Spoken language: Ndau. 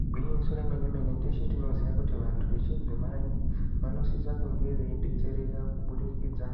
Igwinyiso remene mene teshe tinoziya kuti vantu vechidzimai vanosisa kunge veidzetsereka kubudikidza